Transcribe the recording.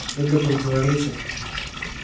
это противоречит